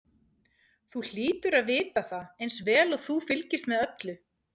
Þú hlýtur að vita það eins vel og þú fylgist með öllu.